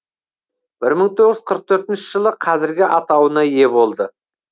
бір мың тоғыз жүз қырық төртінші жылы қазіргі атауына ие болды